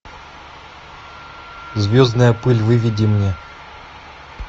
звездная пыль выведи мне